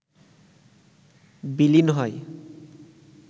বিলীন হয়